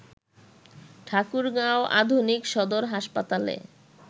ঠাকুরগাঁও আধুনিক সদর হাসপাতালে